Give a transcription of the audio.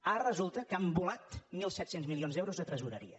ara resulta que han volat mil set cents milions d’euros de tresoreria